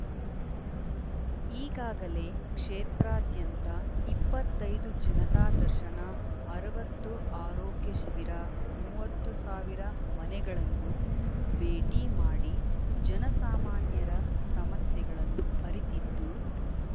ಈಗಾಗಲೇ ಕ್ಷೇತ್ರಾದ್ಯಂತ ಇಪ್ಪತ್ತೈ ದು ಜನತಾ ದರ್ಶನ ಅರವತ್ತು ಆರೋಗ್ಯ ಶಿಬಿರ ಮೂವತ್ತು ಸಾವಿರ ಮನೆಗಳನ್ನು ಭೇಟಿ ಮಾಡಿ ಜನಸಾಮಾನ್ಯರ ಸಮಸ್ಯೆಗಳನ್ನು ಅರಿತಿದ್ದು